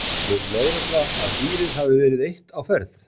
Telur lögregla að dýrið hafi verið eitt á ferð?